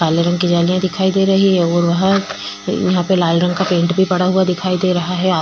काले रंग की जलियां दिखाई दे रही है और वहां पर लाल रंग का पेंट दिखाई दे रहा है आप--